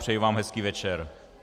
Přeji vám hezký večer.